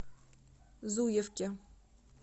зуевке